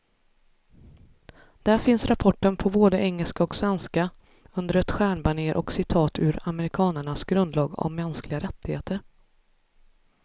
Där finns rapporten på både engelska och svenska, under ett stjärnbanér och citat ur amerikanernas grundlag om mänskliga rättigheter.